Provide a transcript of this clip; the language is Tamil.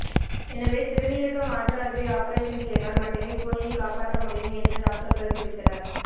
எனவே சிறுநீரக மாற்று அறுவை ஆபரேஷன் செய்தால் மட்டுமே பூனையை காப்பாற்ற முடியும் என்று டாக்டர்கள் தெரிவித்தனர்